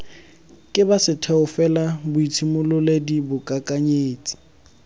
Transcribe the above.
ke ba setheo felaboitshimololedi boikakanyetsi